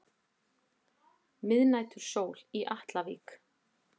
Miðnætursól í Atlavík.